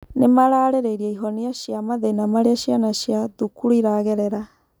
Nĩmararĩrĩirie ihonia cia mathĩna marĩa ciana cia thukuru iragerera